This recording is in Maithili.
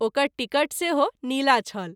ओकर टिकट सेहो नीला छल।